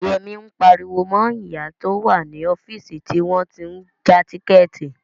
Yẹmí ń pariwo mọ ìyá tó wà ní ọ́fíìsì tí wọ́n tí ń ja tíkẹ̀ẹ̀tì